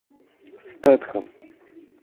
стэтхэм